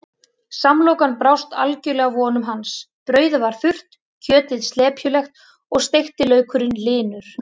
Samlokan brást algjörlega vonum hans, brauðið var þurrt, kjötið slepjulegt og steikti laukurinn linur.